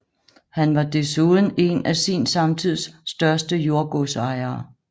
Han var desuden en af sin samtids største jordgodsejere